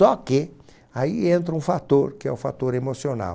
Só que aí entra um fator, que é o fator emocional.